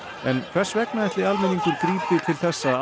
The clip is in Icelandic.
en hvers vegna ætli almenningur grípi til þessa